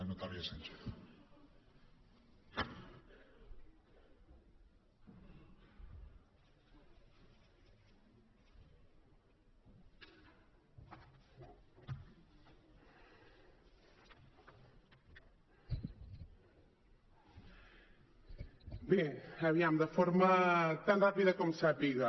bé aviam de forma tan ràpida com sàpiga